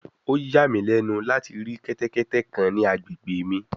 O ya mi lẹnu lati ri kẹtẹkẹtẹ kan ni agbegbe mi